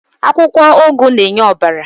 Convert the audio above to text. Akwukwo ugu n'enye obara